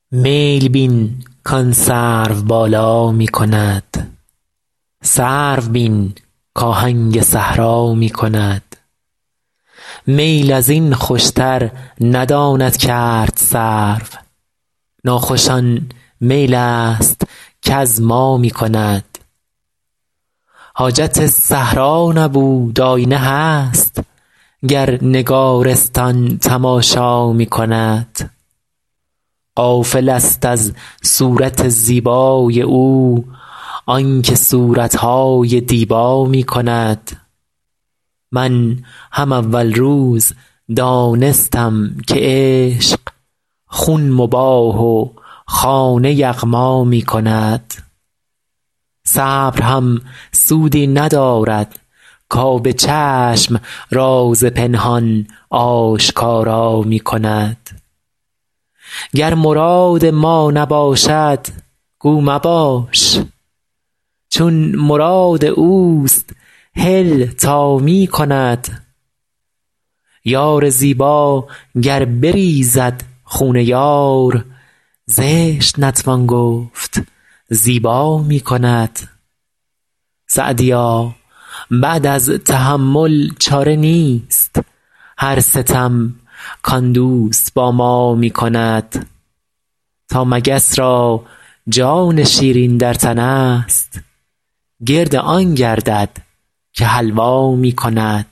میل بین کآن سروبالا می کند سرو بین کآهنگ صحرا می کند میل از این خوشتر نداند کرد سرو ناخوش آن میل است کز ما می کند حاجت صحرا نبود آیینه هست گر نگارستان تماشا می کند غافلست از صورت زیبای او آن که صورت های دیبا می کند من هم اول روز دانستم که عشق خون مباح و خانه یغما می کند صبر هم سودی ندارد کآب چشم راز پنهان آشکارا می کند گر مراد ما نباشد گو مباش چون مراد اوست هل تا می کند یار زیبا گر بریزد خون یار زشت نتوان گفت زیبا می کند سعدیا بعد از تحمل چاره نیست هر ستم کآن دوست با ما می کند تا مگس را جان شیرین در تنست گرد آن گردد که حلوا می کند